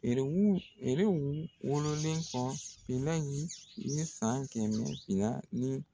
Yɛrɛrw nɛrɛw wololen kɔ, nerɛ in bɛ san kɛmɛmɛ fila ni